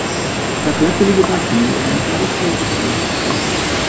Það blæddi líka úr bakinu en það vissi ég ekki fyrr en löngu síðar.